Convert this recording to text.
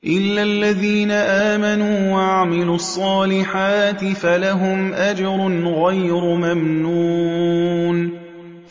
إِلَّا الَّذِينَ آمَنُوا وَعَمِلُوا الصَّالِحَاتِ فَلَهُمْ أَجْرٌ غَيْرُ مَمْنُونٍ